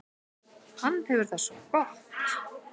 Hann hefur það svo gott.